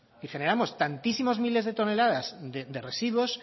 y generamos tantísimos miles de toneladas de residuos